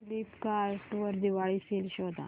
Flipkart वर Diwali sale शोधा